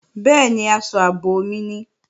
Bẹ́ẹ̀ni, aṣọ ààbò mi ni